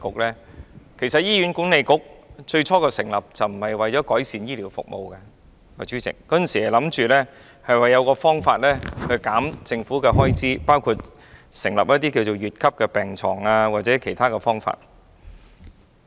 其實，最初成立醫院管理局並非為了改善醫療服務，而是想設法減少政府的開支，包括開設乙級病床或採用其他方法。